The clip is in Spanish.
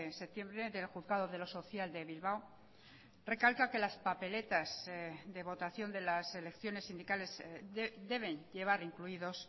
septiembre del juzgado de lo social de bilbao recalca que las papeletas de votación de las elecciones sindicales deben llevar incluidos